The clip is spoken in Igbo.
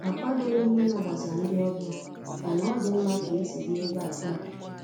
Akwadoghị m ịnabata ndị ọbịa, mana ọ dị mma ka isi bịa ebe a taa.